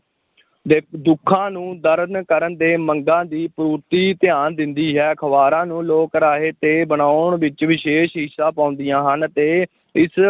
ਦ~ ਦੁੱਖਾਂ ਨੂੰ ਦਰਨ ਕਰਨ ਦੇ ਮੰਗਾਂ ਦੀ ਪੂਰਤੀ ਧਿਆਨ ਦਿੰਦੀ ਹੈ ਅਖ਼ਬਾਰਾਂ ਨੂੰ ਲੋਕ-ਰਾਇ 'ਤੇ ਬਣਾਉਣ ਵਿੱਚ ਵਿਸ਼ੇਸ਼ ਹਿੱਸਾ ਪਾਉਂਦੀਆਂ ਹਨ ਅਤੇ ਇਸ